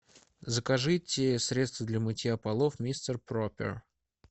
закажите средство для мытья полов мистер пропер